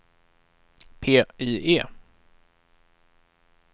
PIE